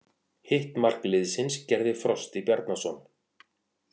Hitt mark liðsins gerði Frosti Bjarnason.